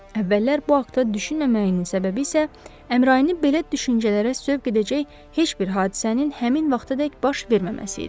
Əvvəllər bu haqta düşünməməyinin səbəbi isə Əmrayini belə düşüncələrə sövq edəcək heç bir hadisənin həmin vaxtadək baş verməməsi idi.